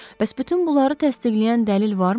Bəs bütün bunları təsdiqləyən dəlil varmı?